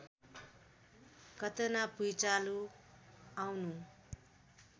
घटना भुँइचालो आउनु